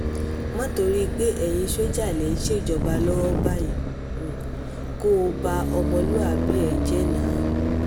má torí pé ẹ̀yin sójà lẹ̀ ń ṣèjọba lọ́wọ́ báyìí kó o ba ọmọlúàbí ẹ jẹ́ náò